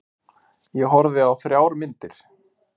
Ég horfði á þrjár myndir.